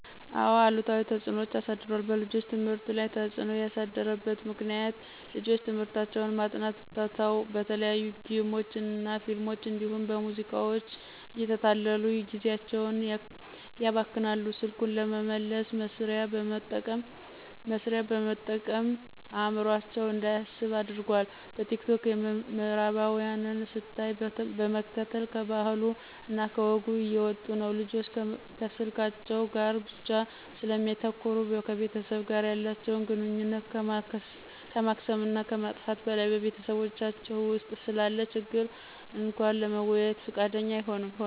አዎ አሉታዊ ተፅዕኖ አሳድሯል። በልጆች ትምህርት ላይ ተፅዕኖ ያሳደረበት ምክንያት፦ ፩) ልጆች ትምህርታቸውን ማጥናት ትተው በተለያዩ ጌሞች እና ፊልሞች እንዲሁም በሙዚቃዎች እየተታለሉ ጊዜአቸውን ያባክናሉ። ፪) ስልኩን ለመልስ መስሪያ በመጠቀም አዕምሮአቸው እንዳያስብ አድርጓል። ፫) በቲክቶክ የምዕራባውያንን ስታይል በመከተል ከባህሉ እና ከወጉ እየወጡ ነው። ልጆች ከስልካቸው ጋር ብቻ ስለሚያተኩሩ ከቤተሰብ ጋር ያላተቸውን ግንኙነት ከማክሰም እና ከማጥፋት በላይ በቤታቸው ውስጥ ስላለ ችግር እንኳ ለመወያየት ፍቃደኛ አይሆኑም።